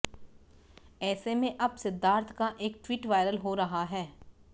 ऐसे में अब सिद्धार्थ का एक ट्वीट वायरल हो रहा है